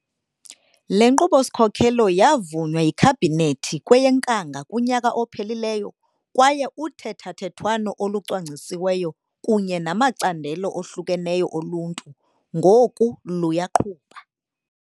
Le Nkqubo-sikhokelo ya vunywa yiKhabhinethi kweyeNkanga kunyaka ophelileyo kwaye uthethathethwano olucwangcisiweyo kunye namacandelo ohlukeneyo oluntu ngoku luyaqhuba.